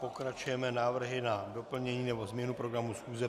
Pokračujeme návrhy na doplnění nebo změnu programu schůze.